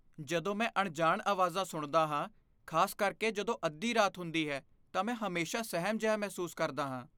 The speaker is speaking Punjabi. ਜਦੋਂ ਮੈਂ ਅਣਜਾਣ ਆਵਾਜ਼ਾਂ ਸੁਣਦਾ ਹਾਂ, ਖਾਸ ਕਰਕੇ ਜਦੋਂ ਅੱਧੀ ਰਾਤ ਹੁੰਦੀ ਹੈ ਤਾਂ ਮੈਂ ਹਮੇਸ਼ਾ ਸਹਿਮ ਜਿਹਾ ਮਹਿਸੂਸ ਕਰਦਾ ਹਾਂ।